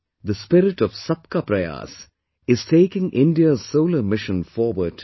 This spirit of 'Sabka Prayas' is taking India's Solar Mission forward today